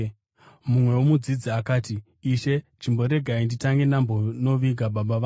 Mumwewo mudzidzi akati, “Ishe chimboregai nditange ndambonoviga baba vangu.”